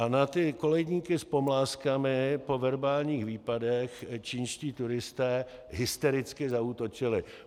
A na ty koledníky s pomlázkami po verbálních výpadech čínští turisté hystericky zaútočili.